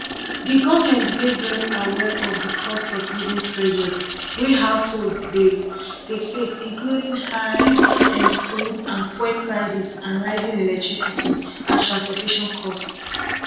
di govment dey very aware of di costofliving pressures wey households dey dey face including high um food and fuel prices and rising electricity and transportation costs